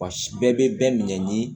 Wa si bɛɛ bɛ bɛɛ minɛ ni